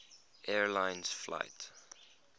air lines flight